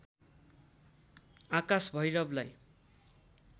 आकाश भैरवलाई